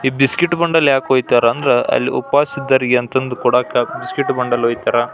ಈ biscuit bundle ಯಾಕೋ ಇತ್ತಾರ ಅಂದ್ರೆ ಅಲ್ಲಿ ಉಪವಾಸ ಇದ್ದವರಿಗೆ ಅಂತಂದು ಕೊಡಾಕೆ ಬಿಸ್ಕಿಟ್ ಬಂಡಲ್ ಇತ್ತಾರ.